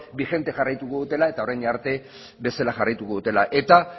bijente jarraituko dutela eta orain arte bezala jarraituko dutela eta